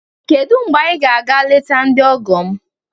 Kedu mgbe anyị ga-aga eleta ndị ọgọ m?